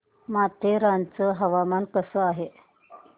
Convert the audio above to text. माथेरान चं हवामान कसं आहे